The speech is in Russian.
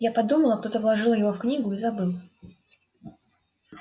я подумала кто-то вложил его в книгу и забыл